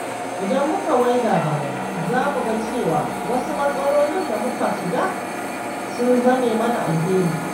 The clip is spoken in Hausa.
Idan muka waiga baya, za mu ga cewa wasu matsalolin da muka shiga sun zame mana alheri.